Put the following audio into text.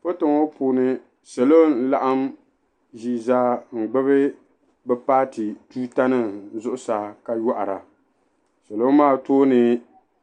Foto ŋɔ puuni salo n laɣim ʒii zaa n gbubi bi paati tuuta nim zuɣusaa ka yɔhira salo maa tooni